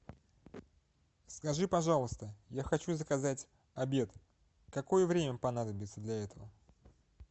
скажи пожалуйста я хочу заказать обед какое время понадобится для этого